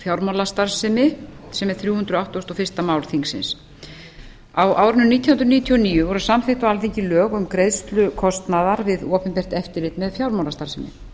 fjármálastarfsemi með síðari breytingum sem er þrjú hundruð áttugasta og fyrsta mál þingsins á árinu nítján hundruð níutíu og níu voru samþykkt á alþingi lög um greiðslu kostnaðar við opinbert eftirlit með fjármálastarfsemi